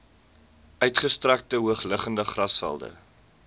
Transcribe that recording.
uitgestrekte hoogliggende grasvelde